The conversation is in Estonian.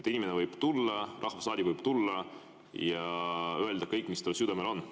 Inimene võib tulla, rahvasaadik võib tulla ja öelda kõik, mis tal südamel on.